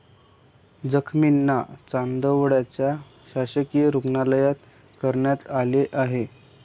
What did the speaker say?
जखमींना चांदवडच्या शासकीय रुग्णालयात करण्यात आलं आहे.